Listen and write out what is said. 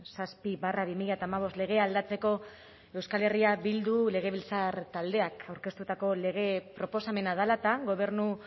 zazpi barra bi mila hamabost legea aldatzeko euskal herria bildu legebiltzar taldeak aurkeztutako lege proposamena dela eta gobernu